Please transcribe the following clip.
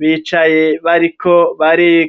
bicaye bariko bariga